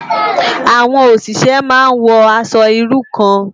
Awòn óṣiṣè má n wò aṣò irú kàn